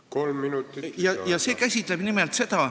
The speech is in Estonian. Kolm minutit lisaaega.